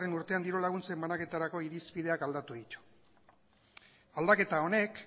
urtean diru laguntzen banaketarako irizpideak aldatu ditu aldaketa honek